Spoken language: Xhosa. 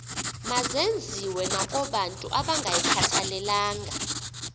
mazenziwe nakobantu abangayikhathalelanga